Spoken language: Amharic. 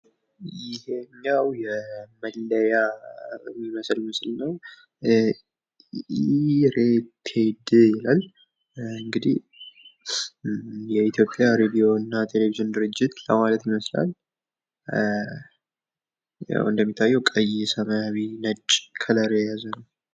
ይሔኛዉ የመለያ የሚመስል ምስል ነዉ። ኢሬቴድ ይላል። እንግዲህ የኢትዮጵያ ሬዲዮና ቴሌቪዥን ድርጅት ለማለት ይመስላል። ያዉ እንደሚታየዉ ቀይ ፣ ሰማያዊ ፣ ነጭ ከለር የያዘ ነዉ።